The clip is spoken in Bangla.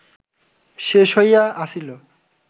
শেষ হইয়া আসিল